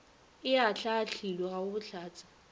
e ahlaahlilwe ga go bohlatse